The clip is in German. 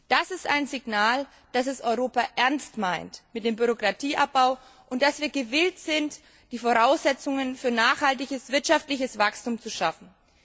Das ist ein Signal, dass Europa es ernst meint mit dem Bürokratieabbau und dass wir gewillt sind, die Voraussetzungen für nachhaltiges Wirtschaftswachstum zu schaffen.